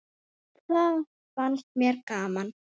Það fannst mér gaman!